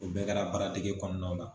U bɛɛ kɛra baaradege kɔnɔnaw la.